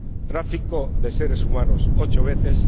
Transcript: tráfico de seres humanos, ocho veces